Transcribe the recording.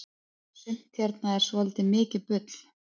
sumt hérna er svoltið mikið bull